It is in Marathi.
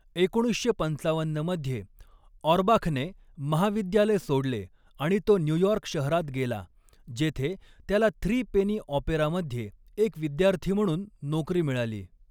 एकोणीसशे पंचावन्न मध्ये, ऑर्बाखने महाविद्यालय सोडले आणि तो न्यूयॉर्क शहरात गेला, जेथे त्याला थ्री पेनी ऑपेरामध्ये एक विद्यार्थी म्हणून नोकरी मिळाली.